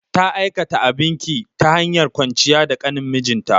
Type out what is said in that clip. Ta aikata abin ƙi, ta hanyar kwanciya da ƙanin mijinta.